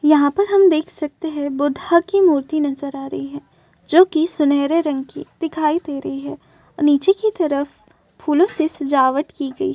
यहाँ पर हम देख सकते है बुधा की मूर्ति नजर आ रही है जोकि सुन्हेरे रंग की दिखाई दे रही है नीचे की तरफ फूलों से सजावट की गई --